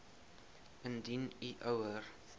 indien u ouer